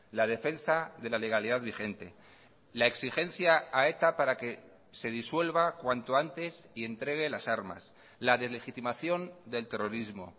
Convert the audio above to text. la defensa de la legalidad vigente la exigencia a eta para que se disuelva cuanto antes y entregue las armas la deslegitimación del terrorismo